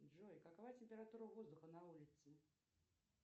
джой какова температура воздуха на улице